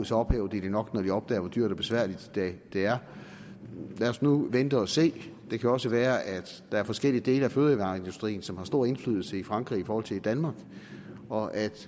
så ophæver de det nok når de opdager hvor dyrt og besværligt det er lad os nu vente og se det kan jo også være at der er forskellige dele af fødevareindustrien som har stor indflydelse i frankrig i forhold til i danmark og at